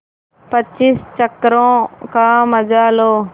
पच्चीस चक्करों का मजा लो